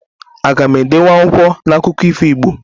Aga m edenwu akwụkwọ na akụkọ ifo Igbo?